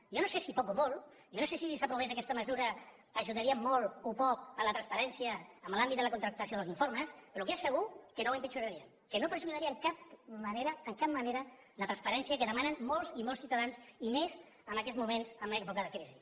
jo no sé si poc o molt jo no sé si si s’aprovés aquesta mesura ajudaria molt o poc a la transparència en l’àmbit de la contractació dels informes però el que és segur és que no ho empitjoraria que no perjudicaria de cap manera de cap manera la transparència que demanen molts i molts ciutadans i més en aquests moments en època de crisi